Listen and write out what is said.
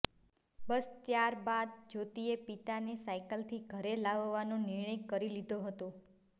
બસ ત્યાર બાદ જ્યોતિએ પિતાને સાઈકલથી ઘરે લાવવાનો નિર્ણય કરી લીધો હતો